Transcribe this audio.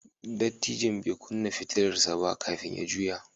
Dattijon bai kunna fitilar sa ba kafin ya juya.